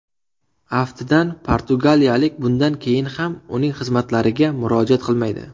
Aftidan, portugaliyalik bundan keyin ham uning xizmatlariga murojaat qilmaydi.